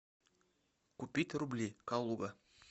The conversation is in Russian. купить рубли калуга